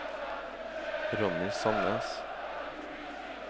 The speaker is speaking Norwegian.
Ronny Sannes